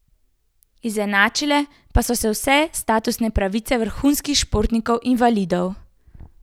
Izenačile pa so se vse statusne pravice vrhunskih športnikov invalidov.